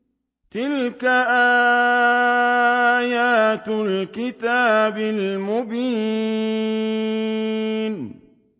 تِلْكَ آيَاتُ الْكِتَابِ الْمُبِينِ